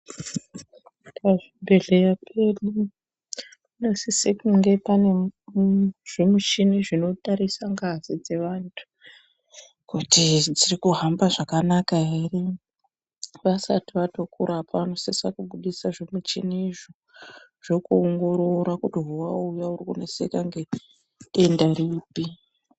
Pazvibhebhedhlera pedu panosise kunge paine mmmm zvimuchini zvinotarise ngazi dzevantu kuti dzirikuhamba zvakanaka ere ,vasati vatokurapa vanosisa kubudisa zvimichini izvo zvokuongorora kuti zvawauya ukudeseka nedenda ripi.